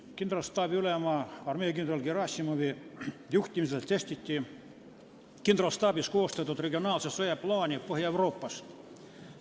Kindralstaabi ülema, armeekindral Gerassimovi juhtimisel testiti kindralstaabis koostatud regionaalse sõja plaani Põhja-Euroopas.